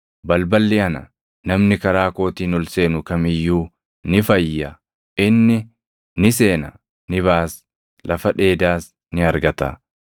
Balballi ana; namni karaa kootiin ol seenu kam iyyuu ni fayya. Inni ni seena; ni baʼas; lafa dheedaas ni argata.